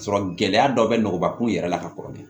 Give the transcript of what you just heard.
K'a sɔrɔ gɛlɛya dɔ bɛ nɔgɔkun yɛrɛ la ka kɔrɔlen